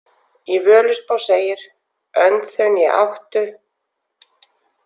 Í Völuspá segir: Önd þau né áttu,